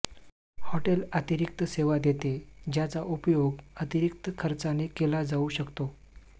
hotel अतिरिक्त सेवा देते ज्याचा उपयोग अतिरिक्त खर्चाने केला जाऊ शकतो